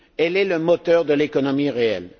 Elle est le moteur de l'économie réelle.